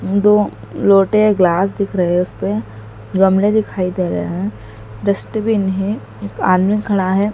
दो लोटे ग्लास दिख रहे उसपे गमले दिखाई दे रहे ह डस्टबिन है एक आदमी खड़ा है।